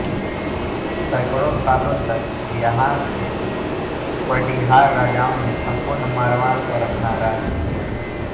सैकड़ों सालों तक यहां से पडिहार राजाओं ने सम्पूर्ण मारवाड़ पर अपना राज किया